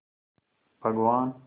भगवान्